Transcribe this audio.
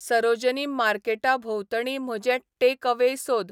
सरोजिनी मार्केटा भोंवतणी म्हजे टेकएवेय सोद